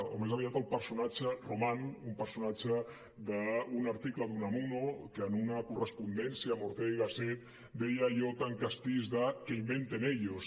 o més aviat el personatge román un personatge d’un article d’unamuno que en una correspondència amb ortega y gasset deia allò tan castís de que inventen ellos